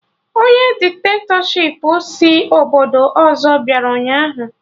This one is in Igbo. Ọnye dikitatọshipụ si obodo ọzọ bịara ụnyaahụ